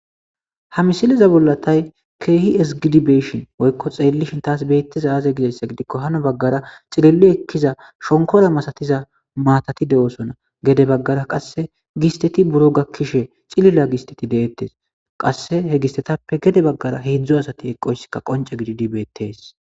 Ha misiliza bollatay keehi esgidibeeshin woykko xeellishin taas beettiza aaze gidessa gidikko hano baggara xililli ekkiza shonkora masatiza maatati de7osona gede baggara qasse gisteti buro gakkishe xilila gisteti deettes qasse he gistetappe gede baggara heedzdzu asati eqqoyssika qonce gididibeettes.